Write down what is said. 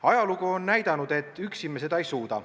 Ajalugu on näidanud, et üksi me seda ei suuda.